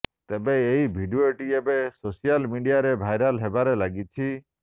ତେବେ ଏହି ଭିଡ଼ିଓଟି ଏବେ ସୋସିଆଲ ମିଡ଼ିଆରେ ଭାଇରାଲ ହେବାରେ ଲାଗିଛି